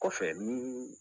Kɔfɛ ni